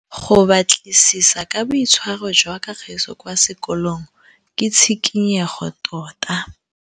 Go batlisisa ka boitshwaro jwa Kagiso kwa sekolong ke tshikinyêgô tota.